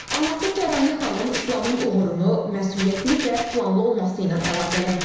Anası Təranə xanım İslamın uğurunu məsuliyyətli və planlı olması ilə əlaqələndirir.